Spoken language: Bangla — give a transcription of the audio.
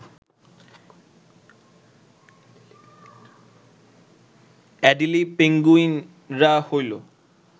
অ্যাডিলি পেঙ্গুইনরা হল